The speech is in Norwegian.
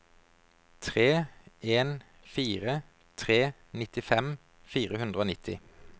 tre en fire tre nittifem fire hundre og nitti